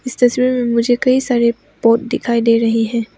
इस तस्वीर में मुझे कई सारे पॉट दिखाई दे रही है।